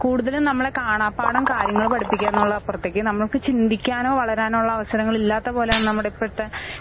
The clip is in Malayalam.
കൂടുതലും നമ്മളെ കാണാപാഠം കാര്യങ്ങള് പഠിപ്പിക്കാംന്നുള്ളപ്പറത്തേക്ക് നമുക്ക് ചിന്തിക്കാനോ, വളരാനോ ഉള്ള അവസരങ്ങളില്ലാത്ത പോലാണ് നമ്മുടെ ഇപ്പഴത്തെ